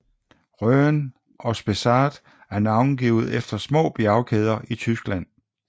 Rhön og Spessart er navngivet efter små bjergkæder i Tyskland